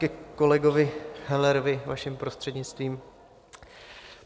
Ke kolegovi Hellerovi, vaším prostřednictvím.